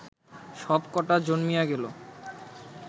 সব কটা জন্মিয়া গেল